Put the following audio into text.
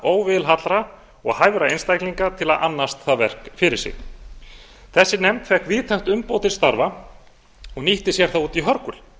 óvilhallra og hæfra einstaklinga til að annast það verk fyrir sig þessi nefnd fékk víðtækt umboð til starfa og nýtti sér það út í hörgul